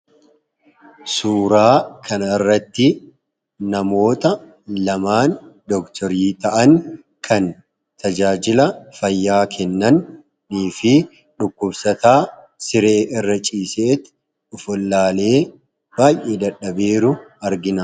Suuraa kana irratti namoota lamaan doktorii ta'an kan tajaajila fayyaa kennannii fi dhukkubsataa siree irra ciisetti ofwallaalee baay'ee dadhabee jiru argina.